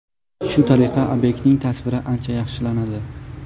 Shu tariqa obyektlarning tasviri ancha yaxshilanadi.